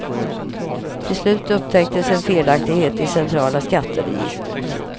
Till slut upptäcktes en felaktighet i centrala skatteregistret.